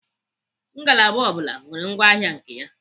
Ngalaba ọ bụla nwere ngwa ahịa nke ya.